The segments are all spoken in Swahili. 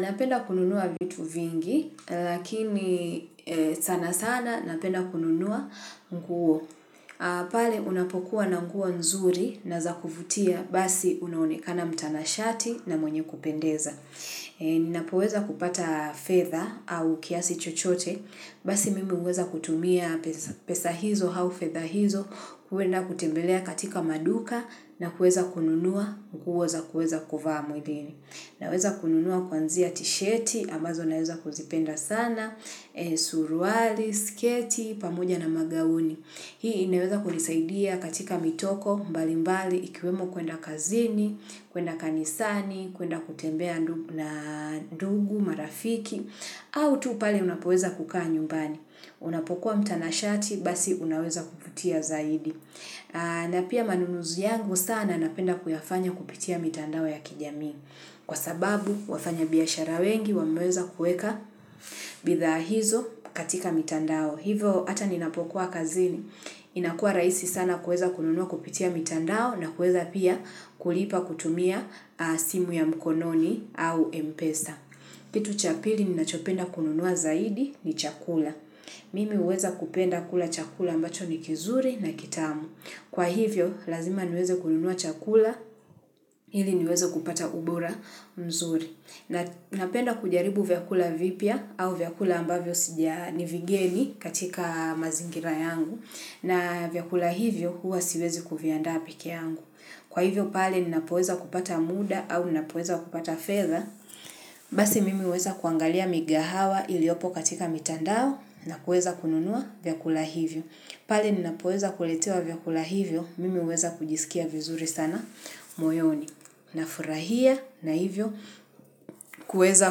Napenda kununua vitu vingi, lakini sana sana napenda kununua nguo. Pale unapokuwa na nguo nzuri na za kuvutia, basi unaoekana mtanashati na mwenye kupendeza. Ninapoweza kupata fedha au kiasi chochote, basi mimi huweza kutumia pesa hizo, au feather hizo, kwenda kutembelea katika maduka na kuweza kununua, nguo za kuweza kuvaa mwilini. Naweza kununua kuanzia t-sheti, ambazo naweza kuzipenda sana, suruali, sketi, pamoja na magauni. Hii inaweza kunisaidia katika mitoko, mbali mbali, ikiwemo kwenda kazini, kwenda kanisani, kwenda kutembea na ndugu, marafiki, au tu pale unapoweza kukaa nyumbani. Unapokuwa mtanashati, basi unaweza kuvutia zaidi. Na pia manunuzi yangu sana napenda kuyafanya kupitia mitandao ya kijami. Kwa sababu wafanya biashara wengi wameweza kuweka bidhaa hizo katika mitandao. Hivo ata ninapokuwa kazini. Inakuwa raihsi sana kuweza kununua kupitia mitandao na kuweza pia kulipa kutumia simu ya mkononi au mpesa. Kitu cha pili ninachopenda kununua zaidi ni chakula. Mimi huweza kupenda kula chakula ambacho ni kizuri na kitamu. Kwa hivyo lazima niweze kununua chakula ili niweze kupata ubora mzuri. Napenda kujaribu vyakula vipya au vyakula ambavyo sijaa ni vigeni katika mazingira yangu na vyakula hivyo huwa siwezi kuviandaa pekee yangu. Kwa hivyo pale ninapoweza kupata muda au ninapoweza kupata fedha. Basi mimi huweza kuangalia migahawa iliyopo katika mitandao na kuweza kununua vyakula hivyo. Pale ninapoweza kuletewa vyakula hivyo, mimi huweza kujisikia vizuri sana moyoni. Na furahia na hivyo, kuweza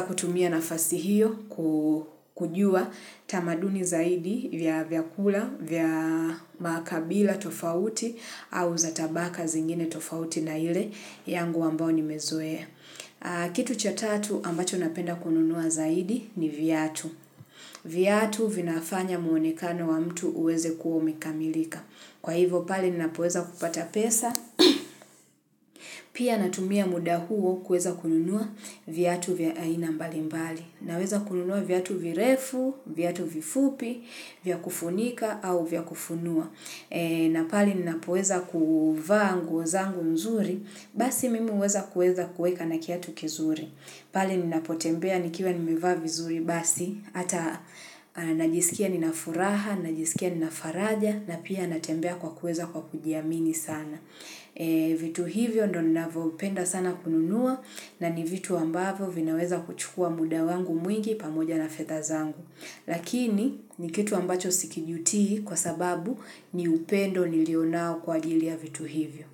kutumia nafasi hiyo kujua tamaduni zaidi vya vyakula, vya makabila tofauti au za tabaka zingine tofauti na ile yangu ambayo nimezoea Kitu cha tatu ambacho napenda kununua zaidi ni viatu. Viatu vinafanya muonekano wa mtu uweze kuwa umekamilika. Kwa hivyo pale ninapoweza kupata pesa. Pia natumia muda huo kuweza kununua viatu vya aina mbali mbali. Naweza kununua viatu virefu, viatu vifupi, vya kufunika au vya kufunua. Na pale ninapoweza kuvaa nguo zangu nzuri, basi mimi huweza kueza kueka na kiatu kizuri. Pale ninapotembea nikiwa nimevaa vizuri basi, ata najisikia ninafuraha, najisikia ninafaraja, na pia natembea kwa kuweza kwa kujiamini sana. Vitu hivyo ndio ninavyopenda sana kununua na ni vitu ambavyo vinaweza kuchukua muda wangu mwingi pamoja na fedha zangu. Lakini ni kitu ambacho sikijutii kwa sababu ni upendo nilionao kwa ajili ya vitu hivyo.